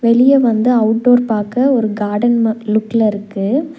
வெளிய வந்து outdoor பாக்க ஒரு கார்டன் ம லுக்ல இருக்கு.